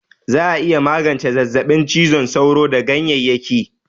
Za'a iya magance zazzaɓin cizon sauro da ganyeyyaki